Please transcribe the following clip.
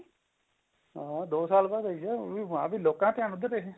ਹਾਂ ਦੋ ਸਾਲ ਆਈ ਸੀ movie ਵੀ ਹਾਂ ਲੋਕਾਂ ਦਾ ਧਿਆਨ ਉੱਧਰ